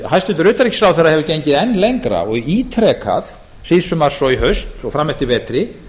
hæstvirts utanríkisráðherra hefur gengið enn lengra og ítrekað síðsumars og í haust og fram eftir vetri